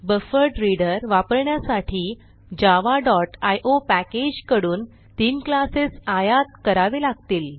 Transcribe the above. buffered reader वापरण्यासाठी Java dot IO package कडून तीन क्लासेस आयात करावे लागतील